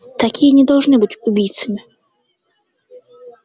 такие не должны быть убийцами